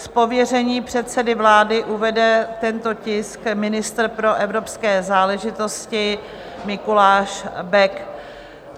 Z pověření předsedy vlády uvede tento tisk ministr pro evropské záležitosti Mikuláš Bek.